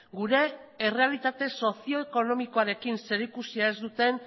gure errealitate sozioekonomikoarekin zerikusia ez duten